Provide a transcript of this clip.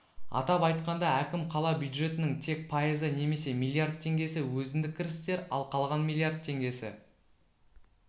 атап айтқанда әкім қала бюджетінің тек пайызы немесе миллиард теңгесі өзіндік кірістер ал қалған миллиард теңгесі